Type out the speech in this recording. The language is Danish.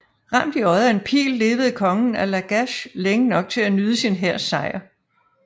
Ramt i øjet af en pil levede kongen af Lagash længe nok til at nyde sin hærs sejr